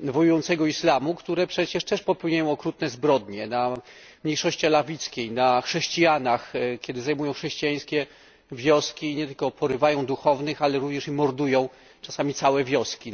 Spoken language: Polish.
wojującego islamu, które też przecież popełniają okrutne zbrodnie na mniejszości alawickiej, na chrześcijanach, kiedy zajmują chrześcijańskie wioski i nie tylko, porywają duchownych, ale również i mordują czasami całe wioski.